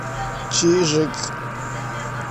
чижик